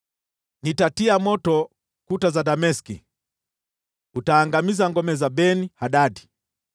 “Nitatia moto kuta za Dameski; utaangamiza ngome za Ben-Hadadi.”